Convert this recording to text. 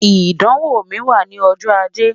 idanwo mi wa ni ọjọ Aje